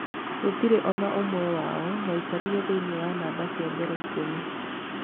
Gũtirĩ onaũmwe wao warĩkirĩe thĩinĩĩ wa number cia mbere ikũmi.